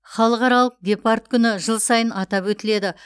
халықаралық гепард күні жыл сайын атап өтіледі